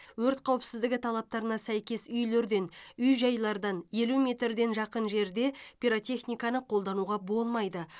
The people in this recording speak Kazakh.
өрт қауіпсіздігі талаптарына сәйкес үйлерден үй жайлардан елу метрден жақын жерде пиротехниканы қолдануға болмайды